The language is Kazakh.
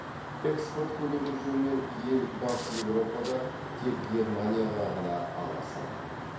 экспорт көлемі жөнінен ел батыс еуропада тек германияға ғана алға салады